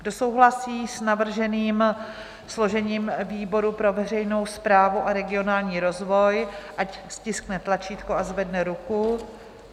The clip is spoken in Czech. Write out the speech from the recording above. Kdo souhlasí s navrženým složením výboru pro veřejnou správu a regionální rozvoj, ať stiskne tlačítko a zvedne ruku.